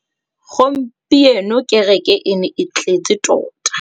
Gompieno kêrêkê e ne e tletse tota.